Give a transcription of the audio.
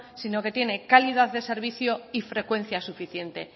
sino que tiene calidad de servicio y frecuencia suficiente